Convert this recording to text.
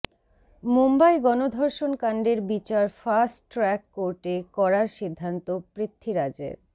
মুম্বই গণধর্ষণকাণ্ডের বিচার fast track কোর্টে করার সিদ্ধান্ত পৃথ্বীরাজের